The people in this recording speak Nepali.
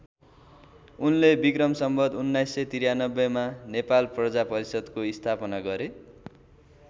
उनले विक्रम सम्वत १९९३मा नेपाल प्रजा परिषद्को स्थापना गरे।